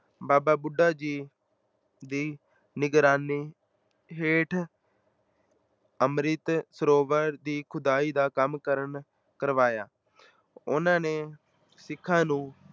ਬਾਬਾ ਬੁੱਢਾ ਜੀ ਦੀ ਨਿਗਰਾਨੀ ਹੇਠ ਅੰਮ੍ਰਿਤ ਸਰੋਵਰ ਦੀ ਖੁਦਾਈ ਦਾ ਕੰਮ ਕਰਨ ਕਰਵਾਇਆ, ਉਹਨਾਂ ਨੇ ਸਿੱਖਾਂ ਨੂੰ